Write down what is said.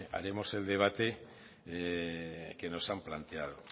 haremos el debate que nos han planteado